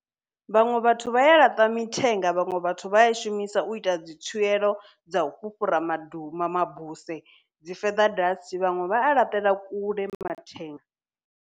Vhaṅwe vhathu vha ya laṱa mithenga vhaṅwe vhathu vha a i shumisa u ita dzi tswielo dza u fhufhura madu ma mabuse. Dzi feather dust vhaṅwe vha alaṱela kule mathenga.